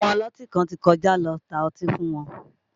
Ọmọ ọlọ́tí kan ti kọjá lọ tá ọtí fún wọn